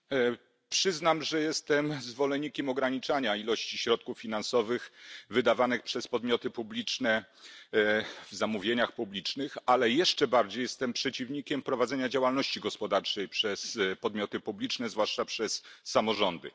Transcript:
Panie Przewodniczący! Przyznam, że jestem zwolennikiem ograniczania ilości środków finansowych wydawanych przez podmioty publiczne w zamówieniach publicznych, ale jeszcze bardziej jestem przeciwnikiem prowadzenia działalności gospodarczej przez podmioty publiczne, zwłaszcza przez samorządy.